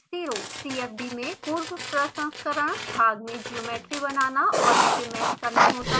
cfd में पूर्वप्रसंस्करण भाग में ज्योमेट्री बनाना और इसे मैश करना होता है